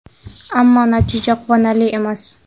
Ammo natija quvonarli emas.